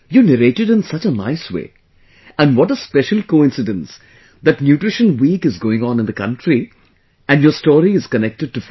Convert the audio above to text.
You narrated in such a nice way and what a special coincidence that nutrition week is going on in the country and your story is connected to food